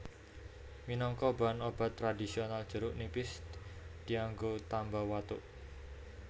Minangka bahan obat tradhisional jeruk nipis dianggo tamba watuk